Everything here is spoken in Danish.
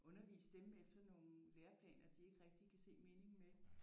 Undervise dem efter nogle lærerplaner de ikke rigtigt kan se meningen med